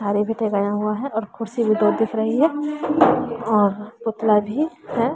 सारे गया हुआ है और कुर्सी भी दो दिख रही है और पुतला भी है।